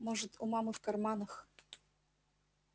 может у мамы в карманах